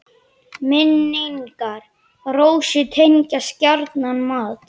Minn- ingar Rósu tengjast gjarnan mat.